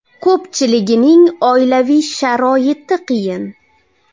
Ko‘pchiligining oilaviy sharoiti qiyin.